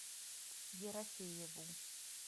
ерофееву